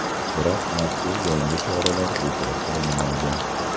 Biroq mazkur yangi choralar bekor qilinmaydi.